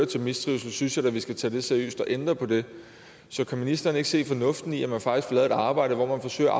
til mistrivsel synes jeg da at vi skal tage det seriøst og ændre på det så kan ministeren ikke se fornuften i at man faktisk får lavet et arbejde hvor man forsøger at